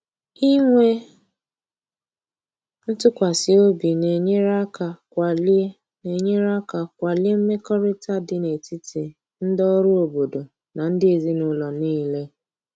Inwe ntụkwasị obi na-enyere aka kwalie na-enyere aka kwalie mmekọrịta dị n’etiti ndị ọrụ obodo na ndị ezinụlọ niile.